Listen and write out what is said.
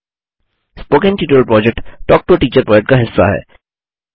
spoken tutorial project talk to a teacher project का हिस्सा है